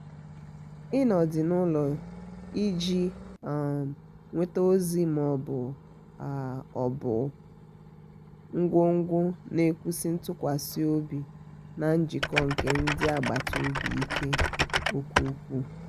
ịnọ dị n'ụlọ iji um nweta ozi ma um ọ bụ um ngwungwu na-ewusi ntụkwasi obi na njikọ nke ndị agbata obi ike nke ukwuu.